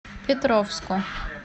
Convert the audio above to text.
петровску